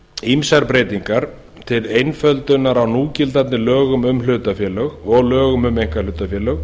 ýmsar breytingar til einföldunar á núgildandi lögum um hlutafélög og lögum um einkahlutafélög